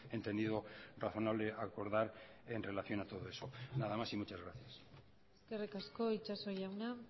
entendido razonable acordar en relación a todo eso nada más y muchas gracias eskerrik asko itxaso jauna